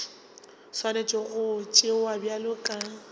swanetše go tšewa bjalo ka